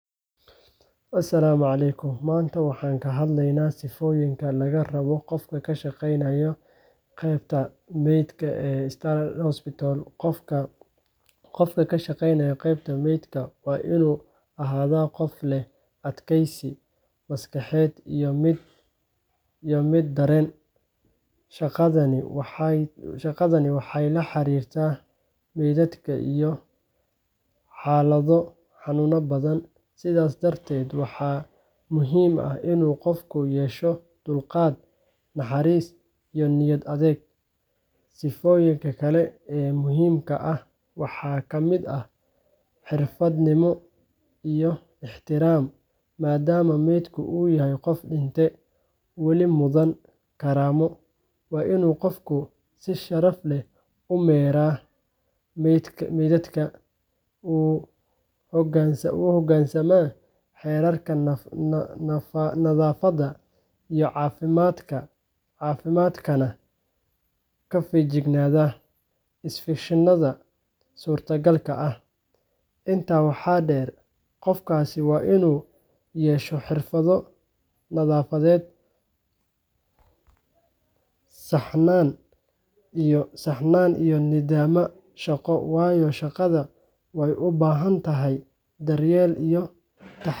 Asalaamu calaykum. Maanta waxaan ka hadlaynaa sifooyinka laga rabo qof ka shaqeynaya qeybta meydka ee Star Hospital. Qofka ka shaqeynaya qeybta meydka waa inuu ahaadaa qof leh adkaysi maskaxeed iyo mid dareen. Shaqadani waxay la xiriirtaa meydad iyo xaalado xanuun badan, sidaas darteed waxaa muhiim ah inuu qofku yeesho dulqaad, naxariis, iyo niyad adag. Sifooyinka kale ee muhiimka ah waxaa ka mid ah xirfad-nimo iyo ixtiraam, maadaama meydku yahay qof dhintay oo weli mudan karaamo. Waa inuu qofku si sharaf leh u maareeyaa meydadka, u hoggaansamaa xeerarka nadaafadda iyo caafimaadka, kana feejignaadaa infekshanada suurtagalka ah. Intaa waxaa dheer, qofkaasi waa inuu yeesho xirfado nadaafadeed, saxnaan iyo nidaam shaqo, waayo shaqada waxay u baahan tahay daryeel iyo taxaddar badan.